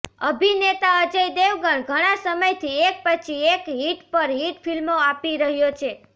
અભિનેતા અજય દેવગણ ઘણા સમયથી એક પછી એક હિટ પર હિટ ફિલ્મો આપી રહ્યો છે